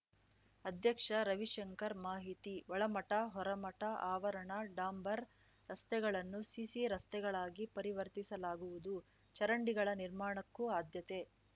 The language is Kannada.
ಅಧ್ಯಕ್ಷ ರವಿಶಂಕರ್‌ ಮಾಹಿತಿ ಒಳಮಠ ಹೊರಮಠ ಆವರಣ ಡಾಂಬರ್‌ ರಸ್ತೆಗಳನ್ನು ಸಿಸಿ ರಸ್ತೆಗಳಾಗಿ ಪರಿವರ್ತಿಸಲಾಗುವುದು ಚರಂಡಿಗಳ ನಿರ್ಮಾಣಕ್ಕೂ ಆದ್ಯತೆ